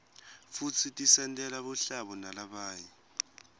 futsi tisentela buhlabo nalabanye